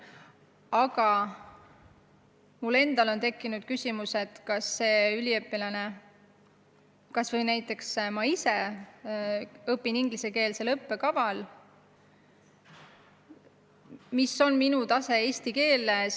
Aga mul on tekkinud küsimus, milline on ingliskeelsel õppekaval õppivate üliõpilaste, kas või minu enda tase eesti keeles.